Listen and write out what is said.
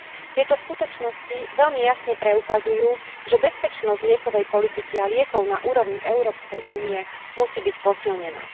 Tieto skutočnosti veľmi jasne preukazujú, že bezpečnosť liekovej politiky a liekov na úrovni Európskej únie musí byť posilnená.